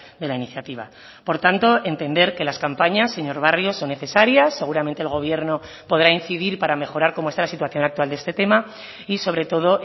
de la iniciativa por tanto entender que las campañas señor barrio son necesarias seguramente el gobierno podrá incidir para mejorar como está la situación actual de este tema y sobre todo